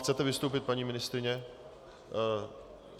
Chcete vystoupit, paní ministryně?